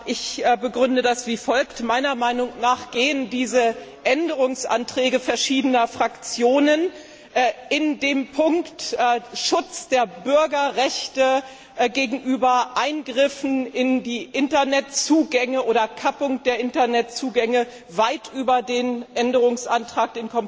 Ich begründe das wie folgt Meiner Meinung nach gehen diese Änderungsanträge verschiedener Fraktionen in dem Punkt Schutz der Bürgerrechte gegenüber Eingriffen in die Internetzugänge oder Kappung der Internetzugänge weit über den Kompromissänderungsantrag